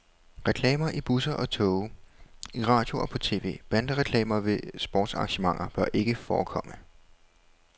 Reklamer i busser og toge i radio og på tv, bandereklamer ved sportsarrangementer bør ikke forekomme.